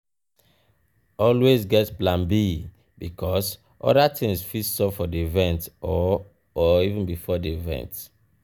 always get plan b because other things fit sup for di event or or before di event